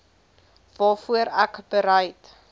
waarvoor ek bereid